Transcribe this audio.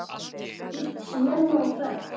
Þú ert snemma á ferð!